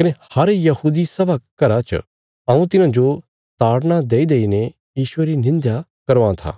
कने हर यहूदी सभा घर च हऊँ तिन्हांजो ताड़ना देईदेईने यीशुये री निंध्या करवां था